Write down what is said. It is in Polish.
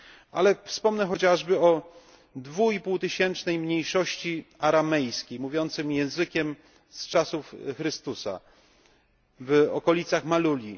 Ale wspomnę chociażby o 2,5 tysięcznej mniejszości aramejskiej, mówiącej językiem z czasów Chrystusa w okolicach Maluli.